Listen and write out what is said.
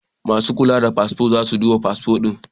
Masu kula da fasfo za su duba fasfo ɗin.